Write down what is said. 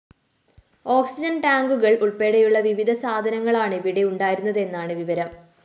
oxygen ടാങ്കുകള്‍ ഉള്‍പ്പടെയുള്ള വിവിധ സാധനങ്ങളാണ് ഇവിടെ ഉണ്ടായിരുന്നതെന്നാണ് വിവരം